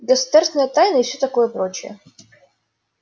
государственная тайна и всё такое прочее